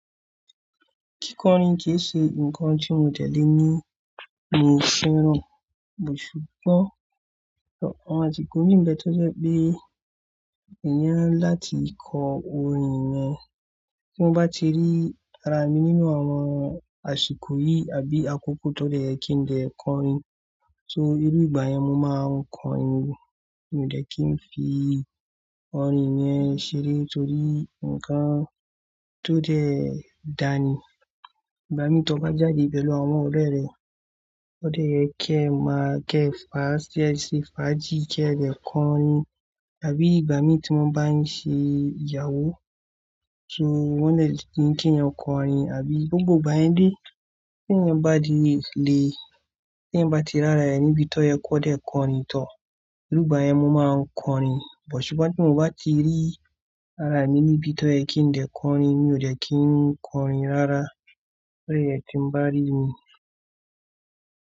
Kíkọrin kì í ṣe nǹkan tí mo dé lé ní mi ò fẹ́ràn, bó sugbon àwọn àsìkò mí n ìbẹ̀ tó jẹ́ pé inira ńlá ti kọ orin yen, tí mo bá ti rí ara mi nínú àwọn àsìkò yìí àbí àkókò tó dẹ́ ye ki n dè kọrin. Soo, irú ìgbà yẹn mo máa ń kọ orin, mi ò dẹ́ kí n fi orin yen ṣeré torí nǹkan tó dẹ́ dàní. Ìgbà mí tí o bá jáde pẹ̀lú àwọn ọ̀rẹ́ rẹ, o dẹ́ ye kí ẹ máa kẹ faa ki e ṣe fàájì, kí ẹ dẹ́ kọrin. Àbí ìgbà mí tí won bá ń ṣe ìyàwó, soo wọ́n dẹ́ le ni kí eeyan kọrin, àbí gbogbo ìgbà yẹn dé tí ẹeeyin bá di lé, tí ẹ̀yin bá ti rárá ẹ níbi tí o yẹ kó dẹ́ kọrin tọ. Irú ìgbà yẹn mo máa ń kọrin, sugbon ti mo ba ti ri ara mi níbi tí yẹ kí n dè kọrin, mi ò dẹ́ kí ń kọrin rárá o de ye tí ń bá rí mi.